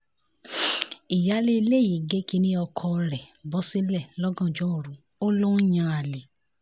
ìyáálé ilé yìí gé kínní ọkọ rẹ̀ bọ́ sílẹ̀ lọ́gànjọ́ òru ó lọ ń yan àlè